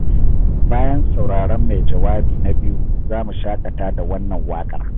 Bayan sauraren mai jawabi na biyu za mu shaƙata da wannan waƙar.